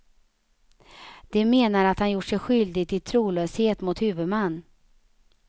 De menar att han gjort sig skyldig till trolöshet mot huvudman.